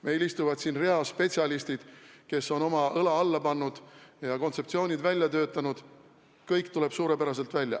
Meil istuvad siin reas spetsialistid, kes on oma õla alla pannud ja kontseptsioonid välja töötanud, kõik tuleb suurepäraselt välja.